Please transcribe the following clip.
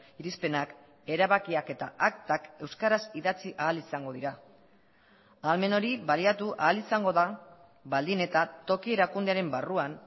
irizpenak erabakiak eta aktak euskaraz idatzi ahal izango dira ahalmen hori baliatu ahal izango da baldin eta toki erakundearen barruan